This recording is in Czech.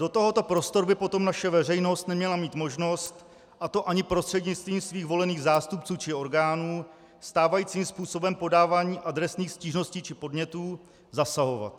Do tohoto prostoru by potom naše veřejnost neměla mít možnost, a to ani prostřednictvím svých volených zástupců či orgánů, stávajícím způsobem podávání adresných stížností či podnětů zasahovat.